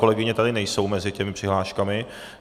Kolegyně tady nejsou mezi těmi přihláškami.